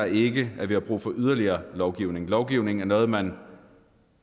ikke at vi har brug for yderligere lovgivning lovgivning er noget man